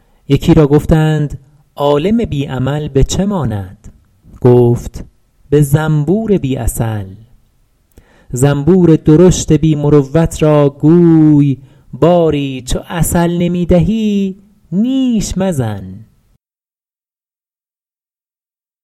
یکی را گفتند عالم بی عمل به چه ماند گفت به زنبور بی عسل زنبور درشت بی مروت را گوی باری چو عسل نمی دهی نیش مزن